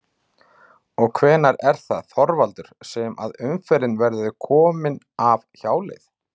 Og hvenær er það Þorvaldur sem að umferðin verður komin af hjáleiðinni?